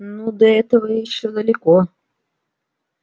ну до этого ещё далеко